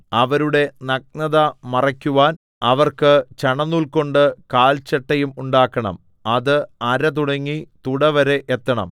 അവരുടെ നഗ്നത മറയ്ക്കുവാൻ അവർക്ക് ചണനൂൽകൊണ്ട് കാൽചട്ടയും ഉണ്ടാക്കണം അത് അര തുടങ്ങി തുടവരെ എത്തണം